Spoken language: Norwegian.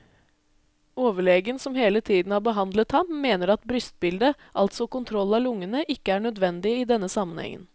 Overlegen som hele tiden har behandlet ham, mener at brystbilde, altså kontroll av lungene, ikke er nødvendig i denne sammenhengen.